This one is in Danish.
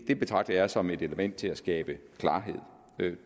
det betragter jeg som et element til at skabe klarhed